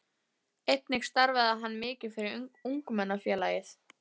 Einnig starfaði hann mikið fyrir Ungmennafélagið.